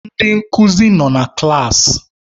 Ndị nkuzi nọ na klaasị.